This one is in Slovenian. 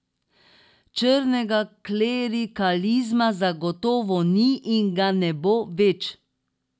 Črnega klerikalizma zagotovo ni in ga ne bo več.